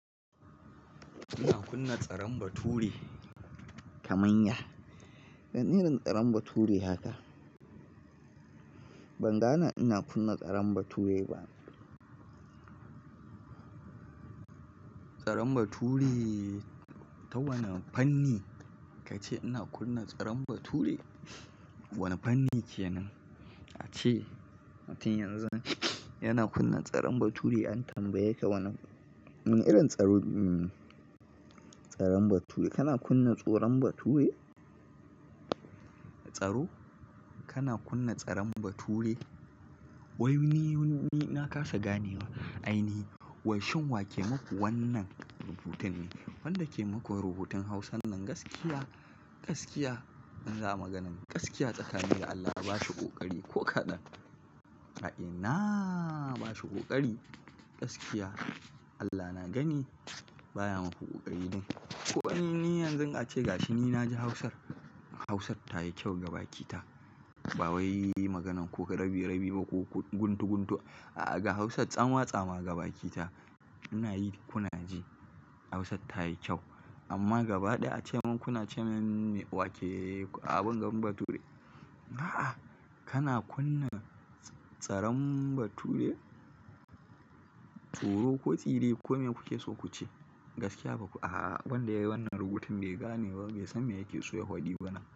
Ina kunna tsaron bature? Kamanya. Wane irin tsaron bature haka? Ban gane ina kunna tsaron bature ba. Tsaron bature ta wane fanni kace ina kunna tsaron bature? Wane fanni kenan? Ace, tin yanzu yana kunna tsaron bature an tambaye ka wane, irin tsaro, tsaron bature. Kana kunna tsoron bature? Tsaro? Kana kunna tsaron bature? Wai ni, ni na kasa ganewa. Ainihi, washin wake muku wannan rubutun ne. Wanda ke muku rubutun Hausan nan gaskiya, gaskiya in za a maganan, gaskiya tsakani da Allah ba shi ƙoƙari ko kaɗan. A ina ba shi ƙoƙari, gaskiya. Allah na gani baya muku ƙoƙari din. Ko ni ni yanzun ace gashi ni na ji Hausar, Hausar ta yi kyau gaba ki ta. Ba wai maganan ko rabi rabi ba ko guntu guntu a'a ga Hausar tsamatsama ga ba ki ta. Muna yi kuna ji Hausar ta yi kyau. Amma gaba ɗaya a ce mun kuna ce min wake a bingan bature. A'a! Kana kunna tsaron bature? Tsoro ko tsire ko me kuke so kuce. Gaskiya baku a'a wanda yayi wannan rubutun bai gane ba bai san me yake so ya faɗi ba nan.